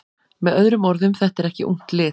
Með öðrum orðum: Þetta er ekki ungt lið.